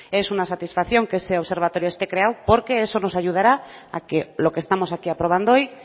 es una satisfacción que ese observatorio esté creado porque eso nos ayudará a que lo que estamos aquí aprobando hoy